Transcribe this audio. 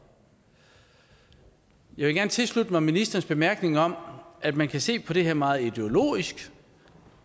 jeg vil gerne tilslutte mig ministerens bemærkning om at man kan se på det her meget ideologisk